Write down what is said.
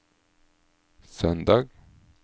søndag